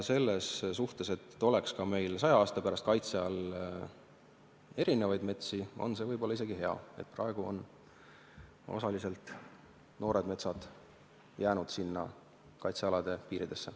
Selles suhtes, et meil oleks ka saja aasta pärast kaitse all erinevaid metsi, on see võib-olla isegi hea, et praegu on osaliselt noored metsad jäänud kaitsealade piiridesse.